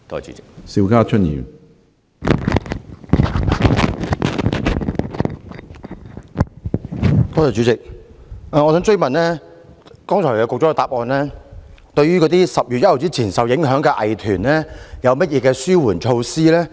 主席，局長在主體答覆中未有提到對10月1日前受影響的藝團有何紓緩措施。